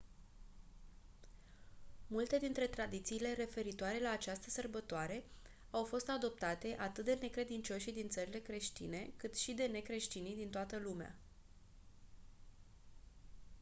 multe dintre tradițiile referitoare la această sărbătoare au fost adoptate atât de necredincioșii din țările creștine cât și de necreștinii din toată lumea